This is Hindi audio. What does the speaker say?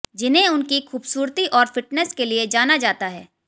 जिन्हें उनकी खूबसूरती और फिटनेस के लिए जाना जाता है